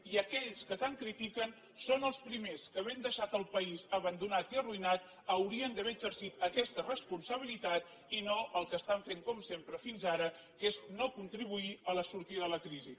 i aquells que tant critiquen són els primers que havent deixat el país abandonat i arruïnat haurien d’haver exercit aquesta responsabilitat i no el que estan fent com sempre fins ara que és no contribuir a la sortida de la crisi